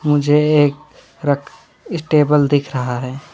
मुझे एक रख इसटेबल दिख रहा है।